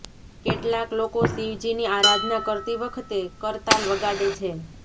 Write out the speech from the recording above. કેટલાક લોકો શિવજીની આરાધના કરતી વખતે કરતાલ વગાડે છે